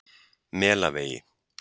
Melavegi